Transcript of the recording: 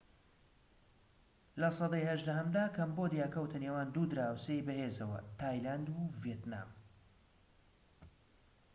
لە سەدەی هەژدەهەمدا کەمبۆدیا کەوتە نێوان دوو دراوسێی بەهێزەوە تایلاند و ڤێتنام